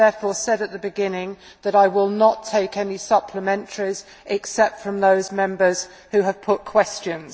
I therefore said at the beginning that I will not take any supplementaries, except from those Members who have put questions.